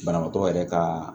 Banabaatɔ yɛrɛ ka